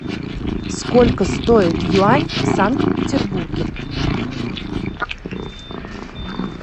сколько стоит юань в санкт петербурге